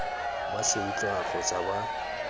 ba se utlwang kgotsa ba